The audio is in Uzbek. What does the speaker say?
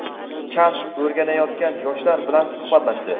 kasb o‘rganayotgan yoshlar bilan suhbatlashdi.